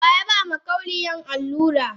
Wayaba makauniyan allura?